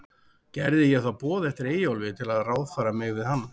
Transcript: Gerði ég þá boð eftir Eyjólfi, til að ráðfæra mig við hann.